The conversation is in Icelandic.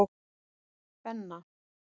Benna